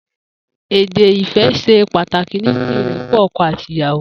Édé ifẹ̀ ṣè pàtáki ninú irèpọ̀ ọkọ àtí ìyàwó